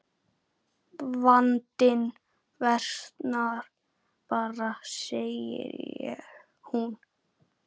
Vandinn versnar bara segir hún.